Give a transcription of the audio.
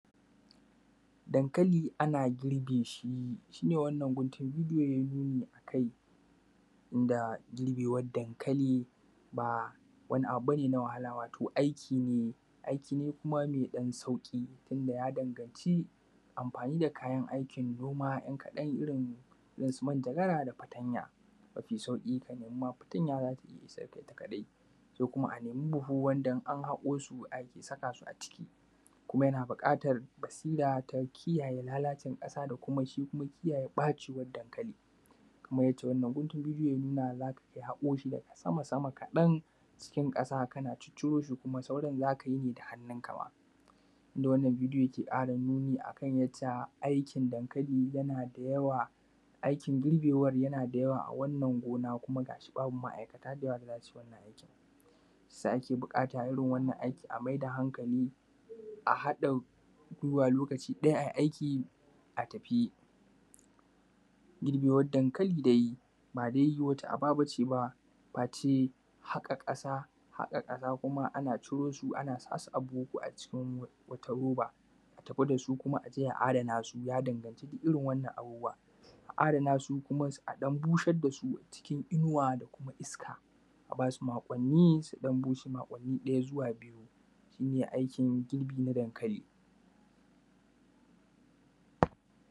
Dankakli ana girbe shi, shi ne wannan guntiluye aikai inda girbewan dankali ba wani abu ba ne na wahala, wato aiki ne aiki ne kuma me ɗan sauƙi wanda ya danganci amfani da kayan aikin noma ɗan kaɗan irin su fatanya da manjagara. Mafi sauƙi ka nemi ma fatanya za ta iya isan ka, ita kaɗai se kuma a nemi buhu wanda in an haƙo ake saka su a ciki, kuma yana buƙatar basira ta kiyaye lalacin ƙasa da kuma shi kiyaye ɓacin dankalin kamar yadda wannan hoto yake nunawa za ka iya haƙo shi daga sama-sama kaɗan cikin ƙasa. Kana ciro shi kuma soran za ka iya yi da hannunka ma inda wannan bidiyo yake ƙara nuni akan yadda aikin dankali, yana da yawa aikin girbewan yana da yawa a wannan gona kuma ga shi babu ma’aikata da yawa da za su yi wannan aikin gona shi ya sa ake buƙata irin wannan aiki a mayar da hankali a haɗa ruwa lokaci ɗaya a yi aiki a tafi riɓewan dankali dai ba dai wata aba ba ce ba ɓace haƙa ƙasa, haƙa ƙasa kuma ana ciro su na buhu ko a wani roba a tafi da su kuma a je a adana su ya danganci irin wannan abubuwa. A adana su kuma a ɗan busar da su cikin inuwa da kuma iska a ba su makwanni su ɗan bushe makwanni ɗaya zuwa biyu shi ne aikin girbi na dankali.